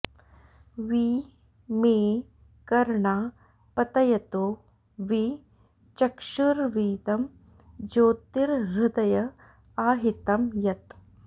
वि मे कर्णा पतयतो वि चक्षुर्वीदं ज्योतिर्हृदय आहितं यत्